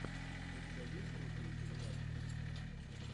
у тебя есть крутые передачи